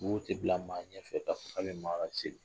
Bobo tɛ bila maa ɲɛfɛ ka fɔ ka bɛ maa laseli